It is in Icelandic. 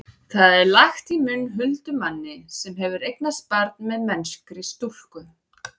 það er lagt í munn huldumanni sem hefur eignast barn með mennskri stúlku